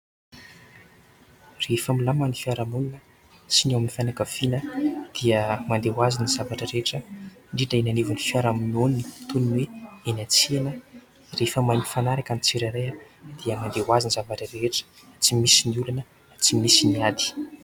Rehefa milamina ny fiaraha-monina sy ny ao amin'ny fianakaviana dia mandeha ho azy ny zavatra rehetra indrindra ny eo anivon'ny fiaraha-monina ; toy ny hoe eny an-tsena rehefa mahay mifanaraka ny tsirairay dia mandeha ho azy ny zavatra rehetra tsy misy ny olana, tsy misy ny ady.